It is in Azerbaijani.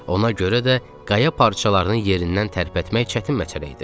Ona görə də qaya parçalarını yerindən tərpətmək çətin məsələ idi.